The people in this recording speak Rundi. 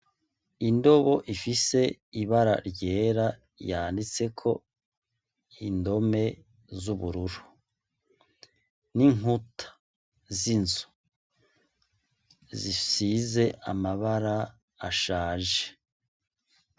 Indobo ifise ibara ryera yanditseko indome z'ubururu, n'inkuta z'inzu zisize amabara ashaje.